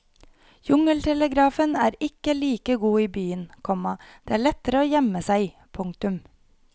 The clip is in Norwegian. Jungeltelegrafen er ikke like god i byen, komma det er lettere å gjemme seg. punktum